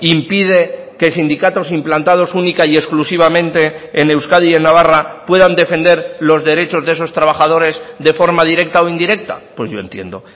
impide que sindicatos implantados única y exclusivamente en euskadi y en navarra puedan defender los derechos de esos trabajadores de forma directa o indirecta pues yo entiendo